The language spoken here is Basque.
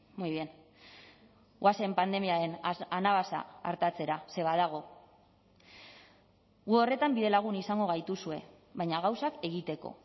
muy bien goazen pandemiaren anabasa artatzera ze badago gu horretan bidelagun izango gaituzue baina gauzak egiteko